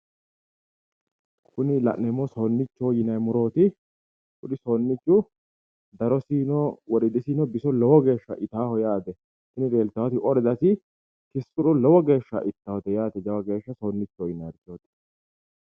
Kuni la'neemmohu soonnichoho yinanni murooti soonnichu darosinnino woriidinnino biso lowo geesha itannoho yaate tini la'neemmoti ordasi biso lowo geesha ittannote yaate soonnichoho yinanni murooti